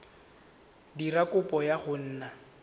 dira kopo ya go nna